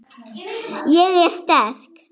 Ég er sterk.